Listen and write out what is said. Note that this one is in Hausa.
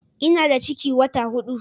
Ina da ciki wata hudu